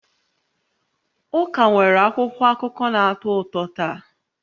Ụka nwere akwụkwọ akụkọ na-atọ ụtọ taa